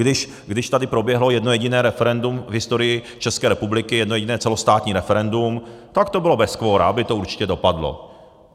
Když tady proběhlo jedno jediné referendum v historii České republiky, jedno jediné celostátní referendum, tak to bylo bez kvora, aby to určitě dopadlo.